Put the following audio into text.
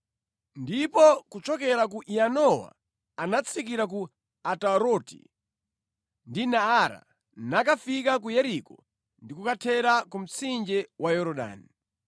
Ndipo kuchokera ku Yanowa anatsikira ku Ataroti ndi Naara, nakafika ku Yeriko ndi kukathera ku mtsinje wa Yorodani.